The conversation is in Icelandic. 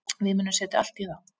Við munum setja allt í það.